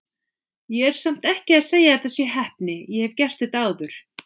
Ég er samt ekki að segja að þetta sé heppni, ég hef gert þetta áður.